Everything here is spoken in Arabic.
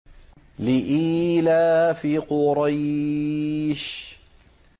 لِإِيلَافِ قُرَيْشٍ